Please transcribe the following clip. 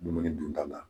Dumuni dunta la